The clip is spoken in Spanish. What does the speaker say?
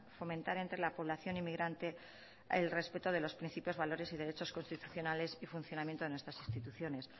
fomentar entre la población inmigrante el respeto de los principios valores y derechos constitucionales y funcionamiento de nuestras instituciones